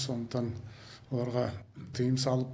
сондықтан оларға тыйым салып